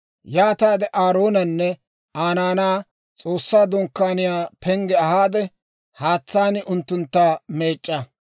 «Yaataade Aaroonanne Aa naanaa S'oossaa Dunkkaaniyaa pengge ahaade, haatsaan unttuntta meec'c'a.